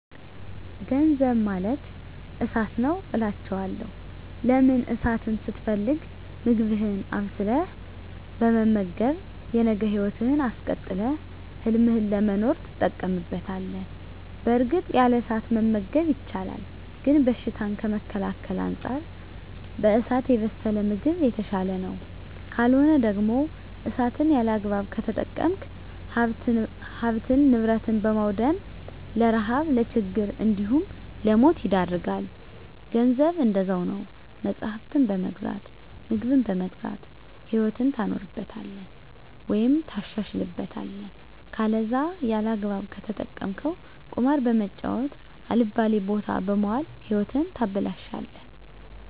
ገንዘብ ማለት እሳት ነዉ አላቸዋለሁ። ለምን እሳትን ስትፈልግ ምግብህን አብስለህ በመመገብ የነገ ህይወትህን አስቀጥለህ ህልምህን ለመኖር ትጠቀምበታለህ በእርግጥ ያለ እሳት መመገብ ይቻላል ግን በሽታን ከመከላከል አንፃር በእሳት የበሰለ ምግብ የተሻለ ነዉ። ካልሆነ ደግሞ እሳትን ያለአግባብ ከተጠቀምክ ሀብትን ንብረት በማዉደም ለረሀብ ለችግር እንዲሁም ለሞት ይዳርጋል። ገንዘብም እንደዛዉ ነዉ መፅሀፍትን በመግዛት ምግብን በመግዛት ህይወትህን ታኖርበታለህ ወይም ታሻሽልበታለህ ከለዛ ያለአግባብ ከተጠቀምከዉ ቁማር በመጫወት አልባሌ ቦታ በመዋል ህይወትህን ታበላሸለህ።